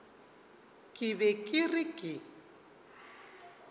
ke be ke re ke